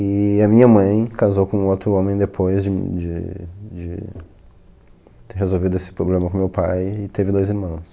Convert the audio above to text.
E a minha mãe casou com outro homem depois de de de ter resolvido esse problema com meu pai e teve dois irmãos.